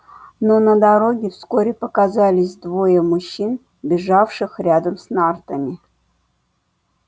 но на дороге вскоре показались двое мужчин бежавших рядом с нартами